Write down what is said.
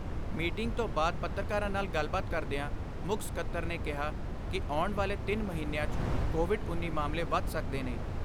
Meeting ਤੋਂ ਬਾਅਦ ਪੱਤਰਕਾਰਾਂ ਨਾਲ ਗੱਲਬਾਤ ਕਰਦਿਆਂ ਮੁੱਖ ਸਕੱਤਰ ਨੇ ਕਿਹਾ ਕਿ ਆਉਣ ਵਾਲੇ ਤਿੰਨ ਮਹੀਨਿਆਂ 'ਚ ਕੋਵਿਡ–19 ਮਾਮਲੇ ਵੱਧ ਸਕਦੇ ਨੇ।